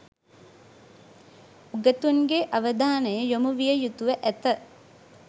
උගතුන්ගේ අවධානය යොමුවිය යුතුව ඇත.